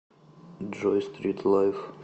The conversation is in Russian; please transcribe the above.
джой стритлайф